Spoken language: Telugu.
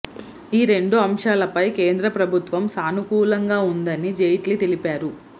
ఈ రెండు అంశాలపై కేంద్ర ప్రభుత్వం సానుకూలంగా ఉందని జైట్లీ తెలిపారు